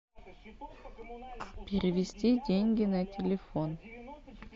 перевести деньги на телефон